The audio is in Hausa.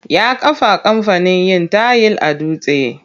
Ya kafa kamfanin yin tayil a Dutse.